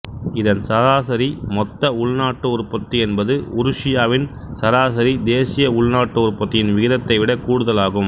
இதன் சராசரி மொத்த உள்நாட்டு உற்பத்தி என்பது உருசியாவின் சராசரி தேசிய உள்நாட்டு உற்பத்தியின் விகிதத்தைவிட கூடுதல் ஆகும்